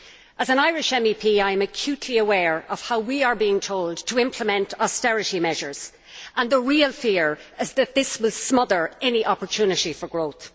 As an Irish MEP, I am acutely aware of how we are being told to implement austerity measures and the real fear is that this will smother any opportunity for growth.